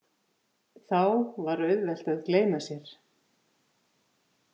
Þá var auðvelt að gleyma sér.